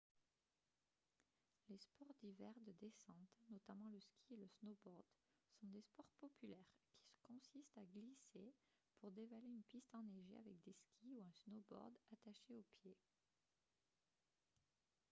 les sports d'hiver de descente notamment le ski et le snowboard sont des sports populaires qui consistent à glisser pour dévaler une piste enneigée avec des skis ou un snowboard attachés aux pieds